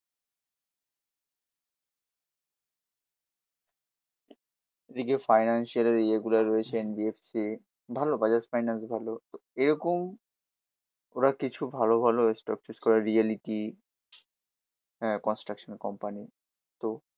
এদিকে ফিনান্সিয়ালের ইয়ে গুলো রয়েছে এন বি এফ সি। ভালো বাজাজ ফাইন্যান্স ভালো। এরকম ওরা কিছু ভালো ভালো স্টক চুস করে। রিয়ালিটি আহ কনস্ট্রাকশন কোম্পানি তো